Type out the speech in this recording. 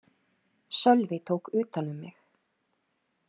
Sölvi tók utan um mig.